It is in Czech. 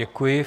Děkuji.